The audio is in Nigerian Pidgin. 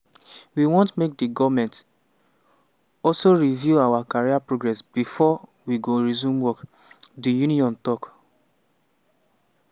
“we want make di goment also review our career progress bifor we go resume work" di union tok.